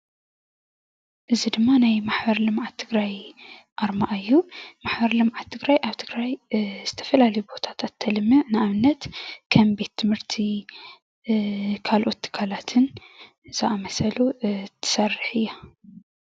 እዚ ድማ ናይ ማሕበር ልምዓት ትግራይ ኣርማ እዩ፡፡ ማሕበር ልምዓት ትግራይ ኣብ ትግራይ ዝተፈላለዩ ቦታታት ተልምዕ ንኣብነት ከም ቤትምህርቲ ካልኦት ትካላትን ዝኣመሰሉ ትሰርሕ እያ፡፡